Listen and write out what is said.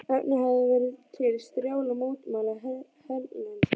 Efnt hafði verið til strjálla mótmæla hérlendis.